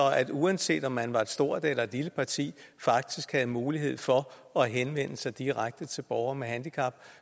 at man uanset om man var et stort eller et lille parti faktisk havde mulighed for at henvende sig direkte til borgere med handicap